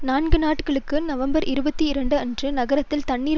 நான்கு நாட்களுக்கு நவம்பர் இருபத்தி இரண்டு அன்று நகரத்தில் தண்ணீர்